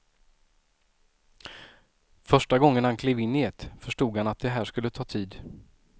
Första gången han klev in i ett förstod han att det här skulle ta tid.